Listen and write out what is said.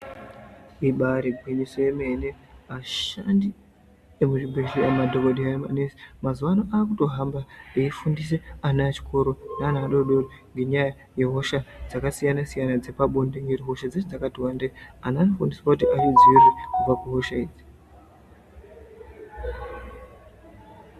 Ibari gwinyiso yomene ashandi emuzvibhedhlera madhokodheya nemanesi mazuwano akutohamba eifundise ana echikoro neana adodori ngenyaya yehosha dzakasiyana siyana dzepabonde ngekuti hosha dzacho dzakati wandei anhu anofundiswa kuti azvidziirire kubva kuhosha idzi.